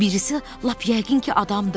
Birisi lap yəqin ki, adamdır.